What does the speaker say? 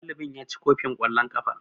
Ɗalibin ya ci kofin kwallon kafa.